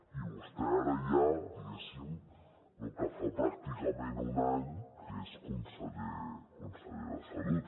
i vostè ara ja diguéssim que fa pràcticament un any que és conseller de salut